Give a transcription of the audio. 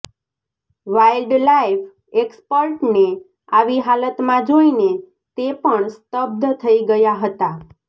wildlife એક્સપર્ટને આવી હાલતમાં જોઈને તે પણ સ્તબ્ધ થઈ ગયા હતા